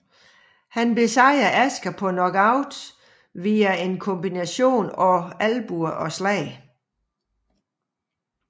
Han besejrede Asker på knockout via en kombination af albuer og slag